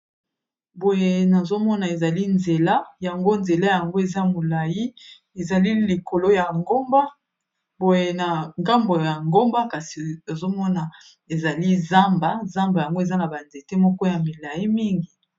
Boye nazomona ezali nzela yango nzela yango eza molai ezali. Likolo ya ngomba oye nagamboe ya ngomba kasi azomona ezali zamba zamba yango eza na banzete moko ya milai mingi.